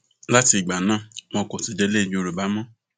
láti ìgbà náà wọn kò sì délé yorùbá mọ